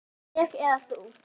Ég eða þú?